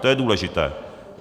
To je důležité.